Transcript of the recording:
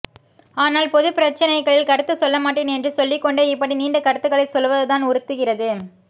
ஆனால் பொதுப்பிரச்சினைகளில் கருத்துச் சொல்லமாட்டேன் என்று சொல்லிக்கொண்டே இப்படி நீண்ட கருத்துக்களைச் சொல்வதுதான் உறுத்துகிறது